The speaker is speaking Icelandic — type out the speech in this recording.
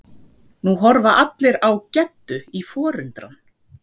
Nú horfa allir á Geddu í forundran.